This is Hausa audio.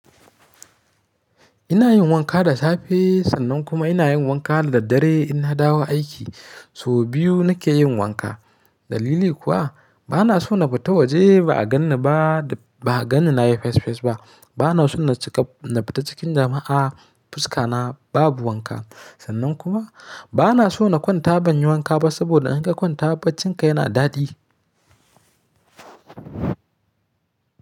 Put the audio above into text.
Ina yin wanka da safe sannan kuma ina yin wanka da daddare in nadawo aiki. So biyu nake yin wanka. Dalili kuwa bana so na fita waje ba a ganni ba, ba a ganni na yi fes fes ba. Bana so na cika, na fita cikin jama'a fuska na babu wanka. Sannan kuma bana so na kwanta ban yi wanka ba saboda in ka kwanta baccinka yana daɗi.